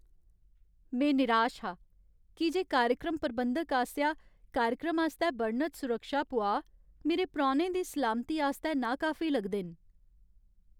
में निराश हा की जे कार्यक्रम प्रबंधक आसेआ कार्यक्रम आस्तै बर्णत सुरक्षा पुआऽ मेरे परौह्नें दी सलामती आस्तै नाकाफी लगदे न।